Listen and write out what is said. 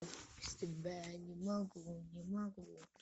без тебя я не могу не могу